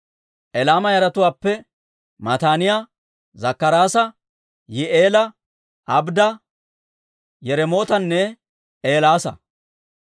Elaama yaratuwaappe Mataaniyaa, Zakkaraasa, Yihi'eela, Abdda, Yiremootanne Eelaasa.